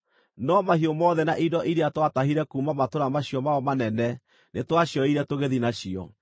No mahiũ mothe na indo iria twatahire kuuma matũũra macio mao manene nĩtwacioire tũgĩthiĩ nacio.